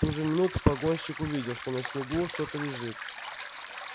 в ту же минуту погонщик увидел что на снегу что-то лежит